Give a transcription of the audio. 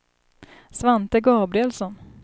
Svante Gabrielsson